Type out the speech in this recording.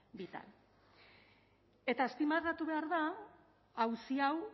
vital eta azpimarratu behar da auzi hau